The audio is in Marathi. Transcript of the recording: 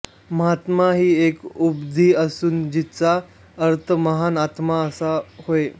महात्मा ही एक उपाधी असून जिचा अर्थ महान आत्मा असा होय